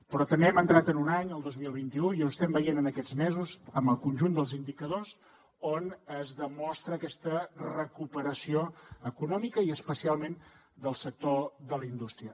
però també hem entrat en un any el dos mil vint u i ho estem veient en aquests mesos en el conjunt dels indicadors on es demostra aquesta recuperació econòmica i especialment del sector de la indústria